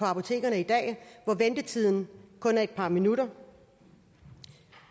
apotekerne i dag at ventetiden kun er et par minutter